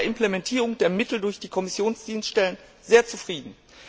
Wir waren mit der Implementierung der Mittel durch die Kommissionsdienststellen sehr zufrieden.